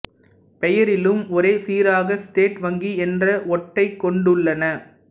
பெயரிலும் ஒரே சீராக ஸ்டேட் வங்கி என்ற ஒட்டைக் கொண்டுள்ளன